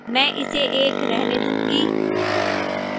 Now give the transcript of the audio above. मैं इसे 1 रहने दूंगी